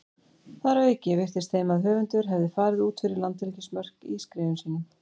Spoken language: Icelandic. Þar að auki virtist þeim að höfundur hefði farið út fyrir landhelgismörk í skrifum sínum.